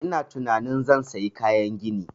Ina tunanin zan sayi kayan gini